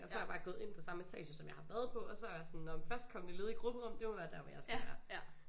Og så er jeg bare gået ind på samme etage som jeg har været på og så være jeg sådan nåh men førstkommende ledige grupperum det må være der hvor jeg skal være